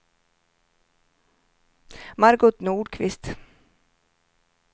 Margot Nordqvist